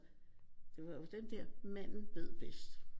Det var jo dem der manden ved bedst